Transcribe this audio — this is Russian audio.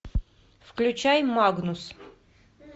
включай магнус